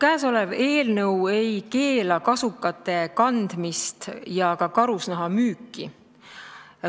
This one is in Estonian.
Käesolev eelnõu ei keela kasukate kandmist ega karusnaha müüki.